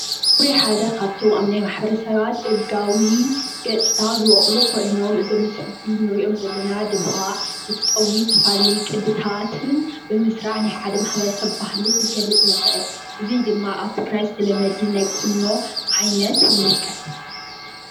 ፀጉሪ ሓደ ካብቶም አብ ናይ ማሕበረ ሰባት ደጋዊ ገፅታ ዝበቆሉ ኮይኖም፤ እዞም ፀጉሪ እንሪኦም ዘለና ድማ እቲ ፀጉሪ ዝተፈላለዩ ቅዲታትን ብምስራሕ ናይ ሓደ ማሕበረ ሰብ ባህሊ ክንገልፅ ንክእል፡፡ እዚ ድማ አብ ትግራይ ዝተለመደ ናይ ቁኖ ዓይነት ይምልከት፡፡